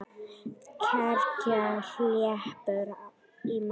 Kergja hleypur í mig.